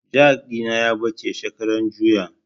Jak ɗina ya ɓace shekaran juya